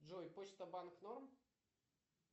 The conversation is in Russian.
джой почта банк норм